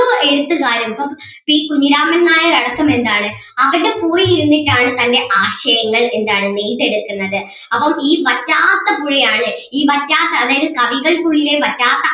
എഴുത്തുകാരും ഇപ്പം പി കുഞ്ഞിരാമൻ നായർ അടക്കം എന്താണ് അവിടെ പോയിരുന്നിട്ട് ആണ് തൻ്റെ ആശയങ്ങൾ എന്താണ് നെയ്തെടുക്കുന്നത് അപ്പം ഈ വറ്റാത്ത പുഴയാണ് ഈ വറ്റാത്ത അതായത് കവികൾക്കുളളിലെ വറ്റാത്ത